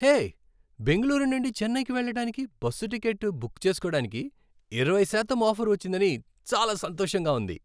హే! బెంగుళూరు నుండి చెన్నైకి వెళ్ళడానికి బస్సు టిక్కెట్ బుక్ చేసుకోడానికి ఇరవై శాతం ఆఫర్ వచ్చిందని చాలా సంతోషంగా ఉంది.